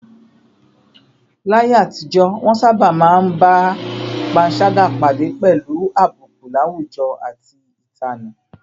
Láyé àtijọ́, wọ́n sábà máa ń bá panṣágà pàdé pẹ̀lú àbùkù láwùjọ àti ìtanù